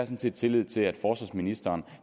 set tillid til at forsvarsministeren